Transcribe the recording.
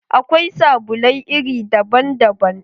Akwai sabulai iri daban daban